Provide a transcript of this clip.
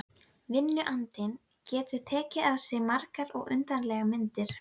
Vinnuandinn getur tekið á sig margar og undarlegar myndir.